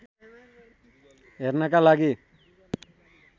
हेर्नका लागि